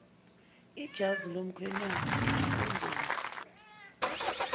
ijazi lomkhwenyana ikhondomu